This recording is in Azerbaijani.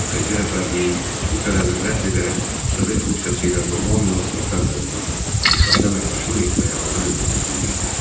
AXC rəhbərliyi bu tələbi rədd edərək Sovet Rusiyası ilə normal münasibətlər qurmağa, iqtisadi əməkdaşlıq etməyə hazır olduğunu bildirdi.